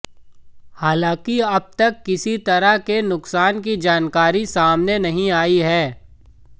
हालांकि अब तक किसी तरह के नुकसान की जानकारी सामने नहीं आई है